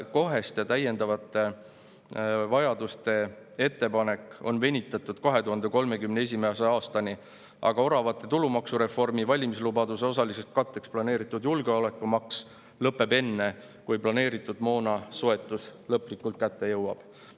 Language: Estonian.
Koheste ja täiendavate vajaduste on venitatud 2031. aastani, aga oravate tulumaksureformi valimislubaduse osaliseks katteks planeeritud julgeolekumaks lõpeb enne, kui planeeritud moona soetus lõplikult kätte jõuab.